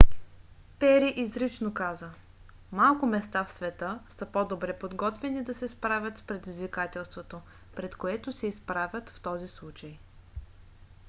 пери изрично каза: малко места в света са по-добре подготвени да се справят с предизвикателството пред което се изправят в този случай.